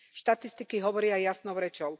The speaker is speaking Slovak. Štatistiky hovoria jasnou rečou.